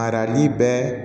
Arain bɛɛ